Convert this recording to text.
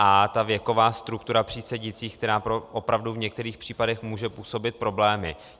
A ta věková struktura přísedících, která opravdu v některých případech může působit problémy.